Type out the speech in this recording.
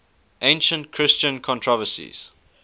ancient christian controversies